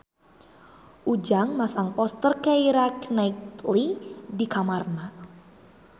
Ujang masang poster Keira Knightley di kamarna